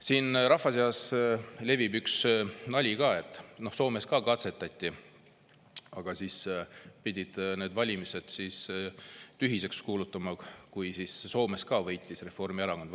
Siin rahva seas levib üks nali, et Soomes ka katsetati, aga nad pidid need valimised tühiseks kuulutama, sest Soomes ka võitis Reformierakond.